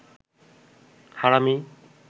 হারামি